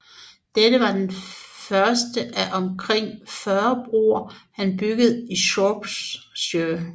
Dette var den første af omkring 40 broer han byggede i Shropshire